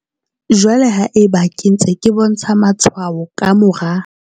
Jwale haeba ke ntse ke bontsha matshwao ka mora.